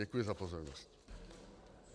Děkuji za pozornost.